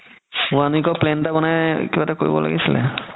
one week ৰ plan এটা বনাই কিবা এটা কৰিব লাগিছিলে